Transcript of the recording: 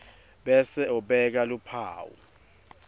bese ubeka luphawu